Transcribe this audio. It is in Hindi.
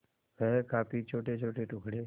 वह काफी छोटेछोटे टुकड़े